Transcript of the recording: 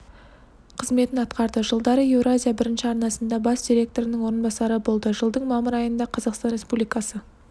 қызметін атқарды жылдары еуразия бірінші арнасында бас директорының орынбасары болды жылдың мамыр айында қазақстан республикасы